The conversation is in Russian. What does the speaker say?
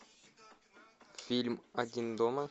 фильм один дома